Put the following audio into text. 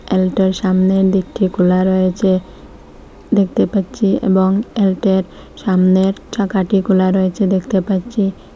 এলটো -র সামনে ডিক্কি খুলা রয়েছে দেখতে পাচ্ছি এবং এলটো -র সামনের চাকাটি খুলা রয়েছে দেখতে পাচ্ছি।